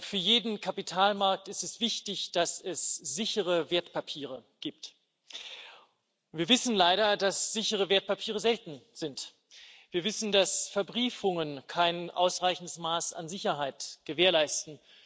Für jeden Kapitalmarkt ist es wichtig, dass es sichere Wertpapiere gibt. Wir wissen, dass sichere Wertpapiere leider selten sind. Wir wissen, dass Verbriefungen kein ausreichendes Maß an Sicherheit gewährleisten.